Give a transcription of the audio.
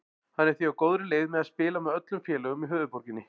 Hann er því á góðri leið með að spila með öllum félögum í höfuðborginni.